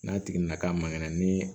N'a tigi nana ka maŋɛnɛ ni